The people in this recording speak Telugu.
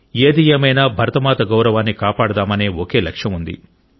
ఏది ఏమైనా భరతమాత గౌరవాన్ని కాపాడదామనే ఒకే లక్ష్యం ఉంది